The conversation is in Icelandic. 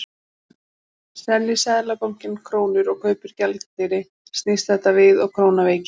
Selji Seðlabankinn krónur og kaupir gjaldeyri snýst þetta við og krónan veikist.